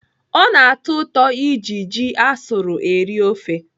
Ọ na-atọ ụtọ iji ji asụrụ eri ofe.